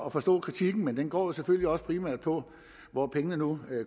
at forstå kritikken men den går jo selvfølgelig også primært på hvor pengene nu